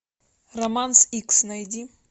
романс икс найди